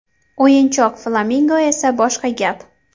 O‘yinchoq flamingo esa boshqa gap.